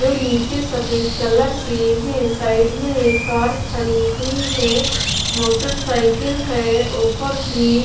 जो नीचे सफेद कलर के हैं साइड में एक कार खड़ी हुई है मोटरसाइकिल है ऊपर भी--